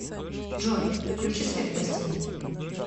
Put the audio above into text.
джой включи свет в гостиной